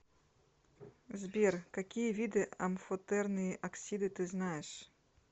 сбер какие виды амфотерные оксиды ты знаешь